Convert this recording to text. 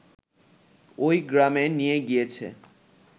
ওই গ্রামে নিয়ে গিয়েছে